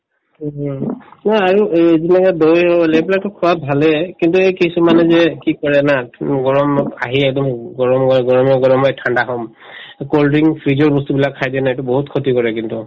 তোমাৰ আৰু এই যিবিলাকে দৈ হল এইবিলাকতো খোৱাত ভালেই কিন্তু এই কিছুমানে যে কি কৰে না উম গৰমত আহি একদম গৰম হৈ গৰমে গৰমে ঠাণ্ডা খাম এই cold drink fridge ৰ বস্তু বিলাক খাই দিয়ে না এইটো বহুত ক্ষতি কৰে কিন্তু